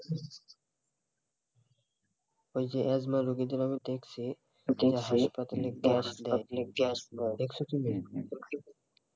ওই যে এজমা রোগীদের আমি দেখছি তারা হাসপাতালে গ্যাস দেয় দিয়ে গ্যাস নেয়